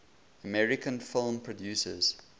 american film producers